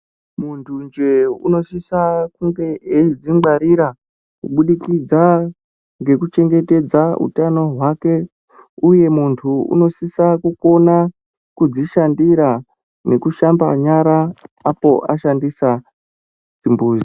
Muntu nje unosisa kunge eizvingwarira kubudikidza ngekuchengetedza hutano hwake uye muntu unosisa kukona kuzvishandira nekushamba nyara apo ashandisa chimbuzi.